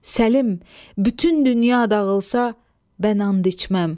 Səlim, bütün dünya dağılsa, bən and içməm.